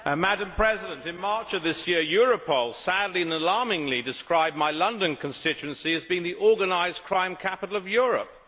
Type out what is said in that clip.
Madam President, in March of this year Europol sadly and alarmingly described my London constituency as being the organised crime capital of Europe.